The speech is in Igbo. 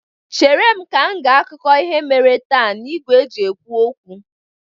Chere ka m gee akụkọ ihe mere taa n'igwe e ji ekwu okwu!